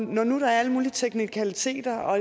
når der nu er alle mulige teknikaliteter